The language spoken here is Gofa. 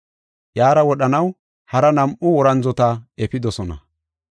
Iyara wodhanaw hara nam7u worandzota efidosona.